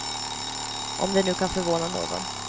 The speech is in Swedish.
Om det nu kan förvåna någon.